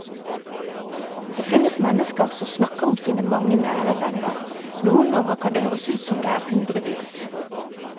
Det finnes mennesker som snakker om sine mange nære venner, noen ganger kan det høres ut som om det er hundrevis.